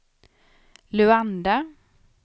Luanda